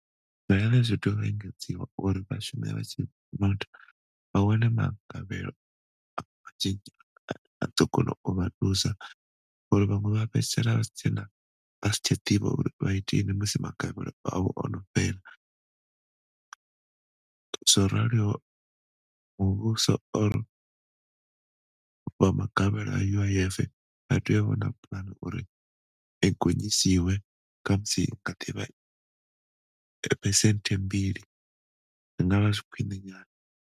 Dzi tea u engedziwa uri vhashumi vha wane magavhelo ane a ḓo kona u vha thusa ngori vhaṅwe vha fhedzisela vha si tshena vha si tsha ḓivha uri vha iteni musi magavhelo avho ono fhela zworalo muvhuso magavhelo a uif vha tea u vhona puḽane uri i gonyisiwe khamusi nga phesenthe mbili zwingavha zwi khwiṋe nyana.